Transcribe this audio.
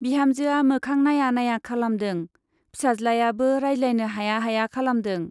बिहामजोआ मोखां नाइया नाइया खालामदों, फिसाज्लायाबो रायज्लायनो हाया हाया खालामदों।